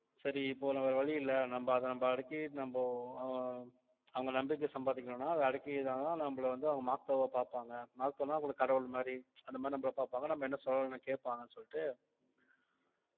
சரி இப்போ நமக்கு வேற வழி இல்லை நம்ப அதை நம்ப அடக்கி நம்போ அஹ் அவங்க நம்பிக்கை சம்பாதிக்கணும்ன்னா அதை அடக்கிதான் நம்மளை வந்து அவங்க makto வா பார்ப்பாங்க makto ன்னா அவங்களுக்கு கடவுள் மாதிரி அந்த மாதிரி நம்மளை பார்ப்பாங்க நம்ம என்ன கேட்பாங்கன்னு சொல்லிட்டு